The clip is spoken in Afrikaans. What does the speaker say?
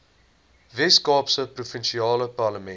weskaapse provinsiale parlement